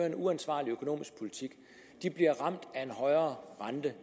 en uansvarlig økonomisk politik bliver ramt af en højere rente